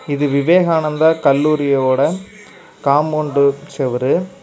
இது விவேகானந்தா கல்லூரியோட காம்பவுண்ட் சேவுரு.